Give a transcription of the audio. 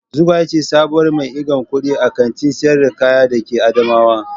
Zugwai ce sabuwar mai irgan kuɗi a Kantin sayar da kaya da ke adamawa.